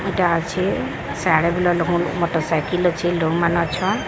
ମଟର cycle ଅଛି। ଲୋଗ୍ ମାନେ ଅଛନ୍।